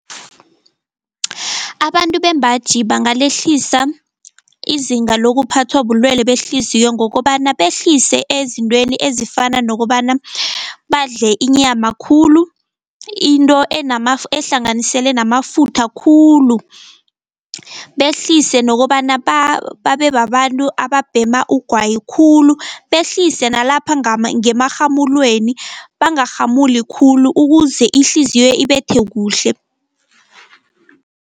Abantu bembaji bangalehlisa izinga lokuphathwa bulwele behliziyo ngokobana behlise ezintweni ezifana nokobana badle inyama khulu, into ehlanganisele namafutha khulu. Behlise nokobana babe babantu ababhema ugwayi khulu, behlise nalapha ngemarhamulweni bangarhamuli khulu ukuze ihliziyo ibethe kuhle.